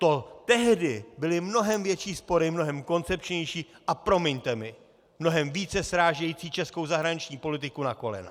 To tehdy byly mnohem větší spory, mnohem koncepčnější, a promiňte mi, mnohem více srážející českou zahraniční politiku na kolena.